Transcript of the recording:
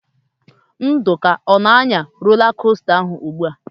Nduka ọ na-anya rola kosta ahụ ugbu a?